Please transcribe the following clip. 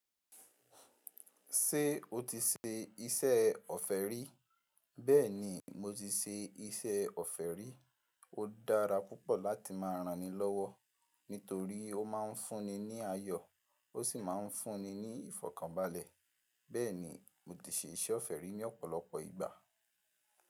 Ṣé o ti ṣe iṣẹ́ ọ̀fẹ́ rí? Bẹ́ẹ̀ni mo ti ṣe iṣẹ́ ọ̀fẹ́ rí. Ó dára púpọ̀ láti máa ranni lọ́wọ́, nítorí ó ma ń fún ni ní ayọ̀, ó sì ma ń fún ni ìfọ̀kànbalẹ̀. Bẹ́ẹ̀ni mo ti ṣe iṣẹ́ ọ̀fẹ́ rí ní ọ̀pọ̀lọpọ̀ ìgbà.